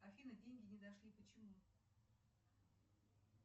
афина деньги не дошли почему